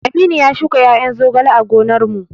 Aminu ya shuka ƴaƴan zogale a gonar mu